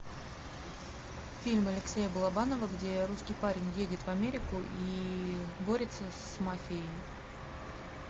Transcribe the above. фильм алексея балабанова где русский парень едет в америку и борется с мафией